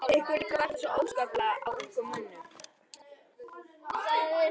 Ykkur liggur varla svo óskaplega á, ungum mönnunum.